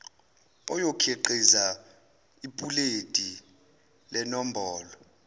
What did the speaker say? oyokhiqiza ipuleti lenombolo